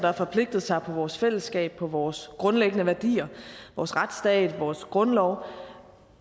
har forpligtet sig på vores fællesskab på vores grundlæggende værdier vores retsstat vores grundlov